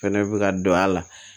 Fɛnɛ bɛ ka don a la